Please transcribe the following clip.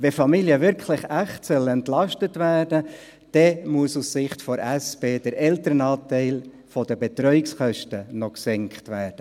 Wenn Familien wirklich echt entlastet werden sollen, dann muss aus Sicht der SP der Elternanteil der Betreuungskosten noch gesenkt werden.